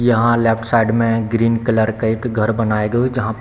यहां left side मे green colour का एक घर बना है जो की जहां पे --